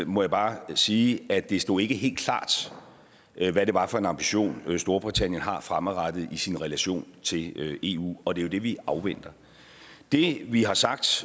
må jeg bare sige at det ikke stod helt klart hvad det var for en ambition storbritannien har fremadrettet i sin relation til eu og det er jo det vi afventer det vi har sagt